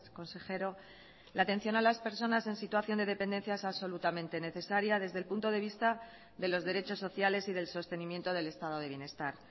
consejero la atención a las personas en situación de dependencia es absolutamente necesaria desde el punto de vista de los derechos sociales y del sostenimiento del estado de bienestar